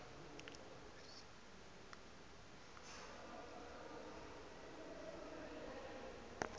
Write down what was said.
hu si he a runwa